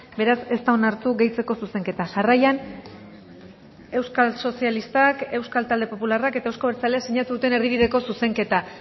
beraz ez da onartu gehitzeko zuzenketa jarraian euskal sozialistak euskal talde popularrak eta euzko abertzaleak sinatu duten erdibideko zuzenketa